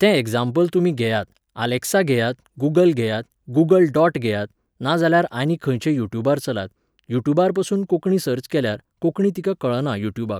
तें एग्झाम्पल तुमीं घेयात, आलेक्सा घेयात, गूगल घेयात, गूगल डॉट घेयात, नाजाल्यार आनी खंयचें युट्युबार चलात, युट्युबारपासून कोंकणी सर्च केल्यार, कोंकणी तिका कळना युट्युबाक